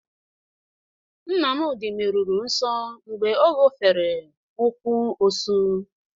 Nnmadị meruru nso mgbe ọ ñofere ụkwụ osụ.